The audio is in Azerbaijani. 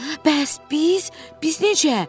Bəs biz, biz necə?